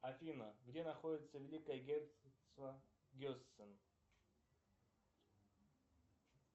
афина где находится великое герцогство гессен